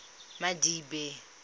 madibe